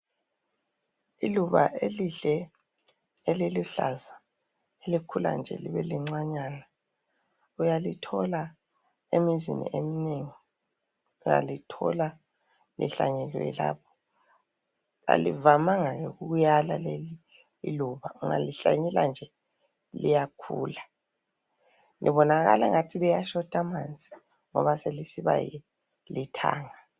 Iluba elihle eliluhlaza elikhula nje libe lincanyana uyalithola emizini eminengi, uyalithola lihlanyeliwe lapho. Alivamanga ukuyala leli iluba, ungalihlanyela nje liyakhula. Libonakala ingani selishota amanzi ngoba selisiba lithanga.